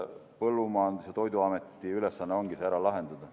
Põllumajandus- ja Toiduameti ülesanne ongi see ära lahendada.